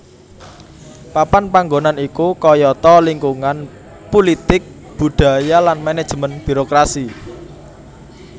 Papan panggonan iku kayata lingkungan pulitik budaya lan manajemen birokrasi